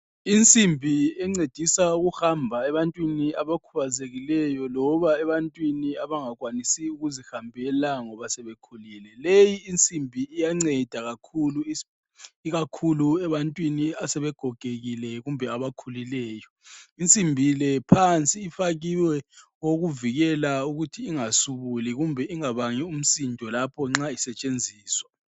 Insimbi encedisa ukuhamba ebantwini abakhubazekileyo loba ebantwini abangakwanisiyo ukuzihambela ngoba sebekhulile. Leyi insimbi iyanceda kakhulu, ikakhulu ebantwini asebegogekile kumbe abakhulileyo. Insimbi le phansi ifakiwe okokuvikela ukuthi ingasubuli kumbe ingabangi umsindo lapho isetshenziswa.